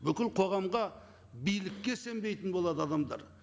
бүкіл қоғамға билікке сенбейтін болады адамдар